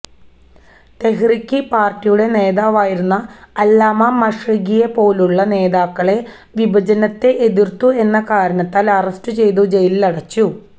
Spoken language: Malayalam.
തെഹ്രിക്ക് പാർട്ടിയുടെ നേതാവായിരുന്ന അല്ലാമ മഷ്രിഖിയെപ്പോലുള്ള നേതാക്കളെ വിഭജനത്തെ എതിർത്തു എന്ന കാരണത്തിൽ അറസ്റ്റു ചെയ്തു ജയിലിലടച്ചു